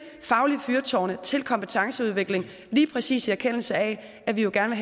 faglige fyrtårne til kompetenceudvikling lige præcis i erkendelse af at vi jo gerne